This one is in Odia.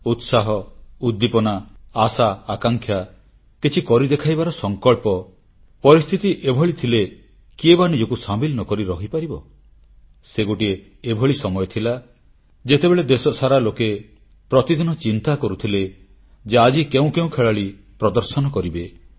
ଉତ୍ସାହ ଉଦ୍ଦୀପନା ଆଶା ଆକାଂକ୍ଷା କିଛି କରି ଦେଖାଇବାର ସଂକଳ୍ପ ପରିସ୍ଥିତି ଏଭଳି ଥିଲେ କିଏ ବା ନିଜକୁ ସାମିଲ ନ କରି ରହିପାରିବ ସେ ଗୋଟିଏ ଏଭଳି ସମୟ ଥିଲା ଯେତେବେଳେ ଦେଶସାରା ଲୋକେ ପ୍ରତିଦିନ ଚିନ୍ତା କରୁଥିଲେ ଯେ ଆଜି କେଉଁ କେଉଁ ଖେଳାଳି ପ୍ରଦର୍ଶନ କରିବେ